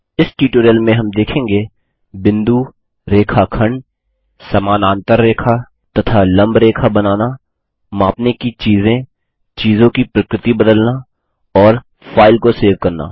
इस ट्यूटोरियल में हम देखेंगे बिंदु रेखाखंड समानांतर रेखा तथा लम्ब रेखा बनाना मापने की चीज़ें चीजों की प्रकृति बदलना और फाइल को सेव करना